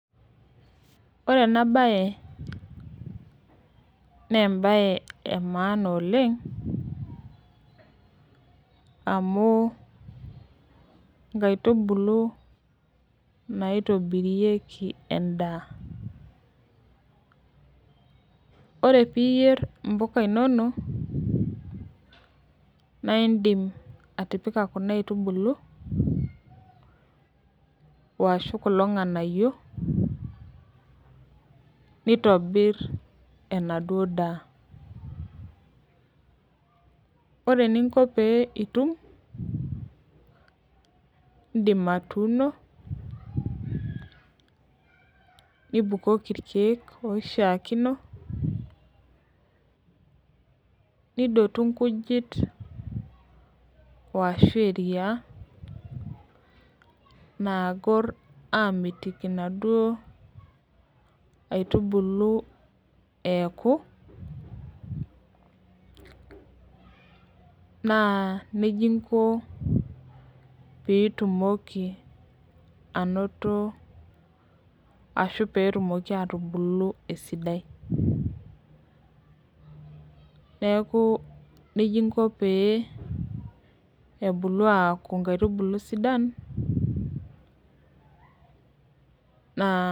Ore enabae, nebae emaana oleng, amu inkaitubulu naitobirieki endaa. Ore piyier impuka inonok, naidim atipika kuna aitubulu, washu kulo ng'anayio, nitobir enaduo daa. Ore eninko pee itum, idim atuuno, nibukoki irkeek oishaakino, nidotu nkujit ashu eriaa, naagor amitiki naduo aitubulu eeku, naa nejia inko pitumoki anoto ashu petumoki atubulu esidai. Neeku nejia inko pee ebulu aku nkaitubulu sidan, naa